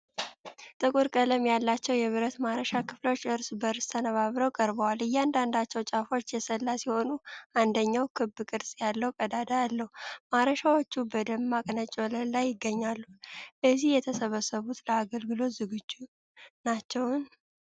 ጥቁር ቀለም ያላቸው የብረት ማረሻ ክፍሎች እርስ በእርስ ተነባብረው ቀርበዋል። እያንዳንዳቸው ጫፎች የሰላ ሲሆኑ አንደኛው ክብ ቅርጽ ያለው ቀዳዳ አለው። ማረሻዎቹ በደማቅ ነጭ ወለል ላይ ይገኛሉ። እዚህ የተሰበሰቡት ለአገልግሎት ዝግጁ ናቸውን?